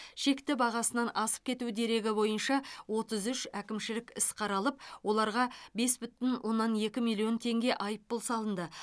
шекті бағасынан асып кету дерегі бойынша отыз үш әкімшілік іс қаралып оларға бес бүтін оннан екі миллион теңге айыппұл салынды